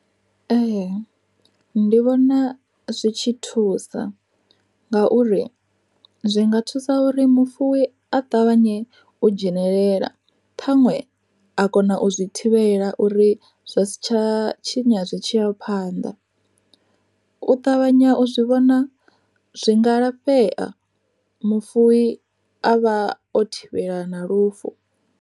Ee ndi vhona zwi tshi thusa, ngauri zwi nga thusa uri mufuwi a ṱavhanye u dzhenelela ṱhaṅwe, a kona u zwi thivhela uri zwa si tsha tshinya zwi tshi ya phanḓa. U ṱavhanya u zwi vhona zwi nga lafhea mufuwi a vha o thivhela na lufu.